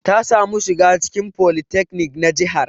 Ta samu shiga cikin folytekni na jihar.